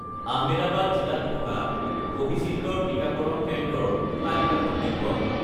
আহমেদাবাদ জিলাত থকা কোভিচিল্ড ৰ টিকাকৰণ কেন্দ্ৰৰ তালিকাখন দেখুৱাওক